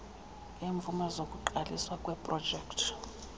ngeemvume zokuqaliswa kweeprojekti